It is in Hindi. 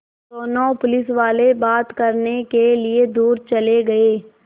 दोनों पुलिसवाले बात करने के लिए दूर चले गए